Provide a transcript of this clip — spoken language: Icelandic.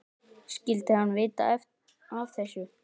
Skyldi hann vita af þessu?